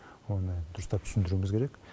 оны дұрыстап түсіндіруіміз керек